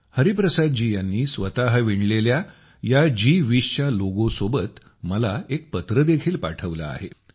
हरिप्रसादजी यांनी स्वतः विणलेल्या या जी20 च्या लोगो सोबत मला एक चिठ्ठी देखील पाठवली आहे